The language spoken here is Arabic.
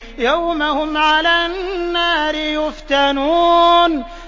يَوْمَ هُمْ عَلَى النَّارِ يُفْتَنُونَ